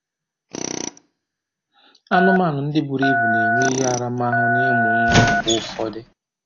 Anụmanụ ndị buru ibu na-enwe ihe aramahụ n'ịmụ nwa mgbe ụfọdụ